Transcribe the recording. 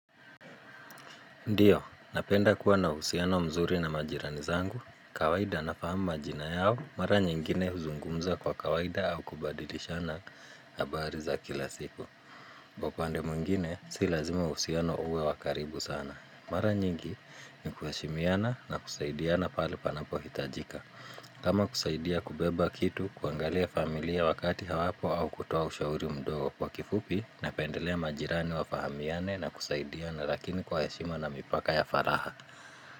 Ndiyo napenda kuwa na uhusiano mzuri na majirani zangu kawaida nafahamu majina yao mara nyingine huzungumza kwa kawaida au kubadilishana habari za kila siku upande mwingine si lazima uhusiano uwe wakaribu sana mara nyingi ni kuheshimiana na kusaidiana pale panapo hitajika. Kama kusaidia kubeba kitu, kuangalia familia wakati hawapo au kutoa ushauri mdogo wa kifupi, napendelea majirani wafahamiane na kusaidia na lakini kwa heshima na mipaka ya faragha.